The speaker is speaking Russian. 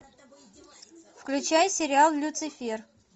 включай сериал люцифер